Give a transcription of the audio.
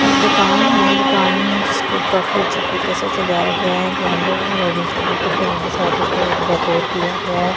एक दुकान है दुकान जिसको काफी अच्छे तरीके से सजाया गया है येल्लो और ऑरेंज कलर के फूलों के साथ उसको डेकोर किया गया है ।